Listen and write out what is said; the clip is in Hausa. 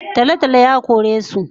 Talotalo yakoresu